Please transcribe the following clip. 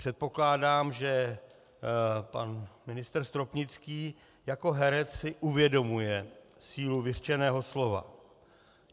Předpokládám, že pan ministr Stropnický jako herec si uvědomuje sílu vyřčeného slova.